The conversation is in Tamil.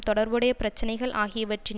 தொடர்புடைய பிரச்சினைகள் ஆகியவற்றின்